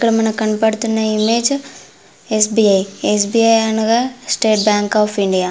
ఇక్కడ మనకు కనపడుతున్న image S. B. I . S. B. I అనగా స్టేట్ బ్యాంక్ ఆఫ్ ఇండియా .